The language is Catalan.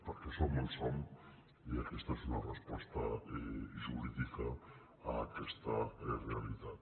perquè som on som i aquesta és una resposta jurídica a aquesta realitat